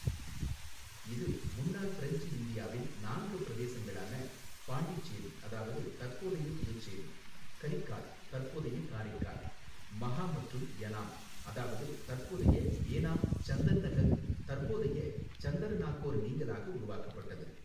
இது முன்னாள் ஃபிரெஞ்ச் இந்தியாவின் நான்கு பிரதேசங்களான பாண்டிச்சேரி அதாவது தற்போதைய புதுச்சேரி, கரிக்கால் தற்போதைய காரைக்கால், மஹா மற்றும் யனாம் அதாவது தற்போதைய ஏனாம் , சந்தன்நகர் தற்போதைய சந்தர்நாகோர் நீங்கலாக உருவாக்கப்பட்டது.